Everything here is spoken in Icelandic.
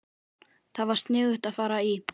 Það var sniðugt að fara í